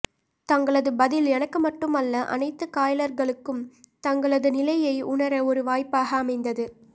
தங்களது பதில் எனக்கு மட்டுமல்ல அனைத்து காயலர்களுக்கும் தங்களது நிலையை உணர ஒரு வாய்ப்பாக அமைந்தது